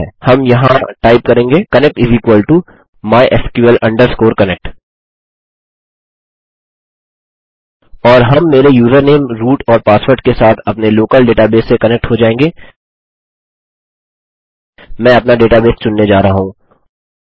हम यहाँ टाइप करेंगे कनेक्ट mysql connect और हम मेरे यूजरनेम रूट और पासवर्ड के साथ अपने लोकल डेटाबेस से कनेक्ट हो जायेंगे मैं अपना डेटाबेस चुनने जा रहा हूँ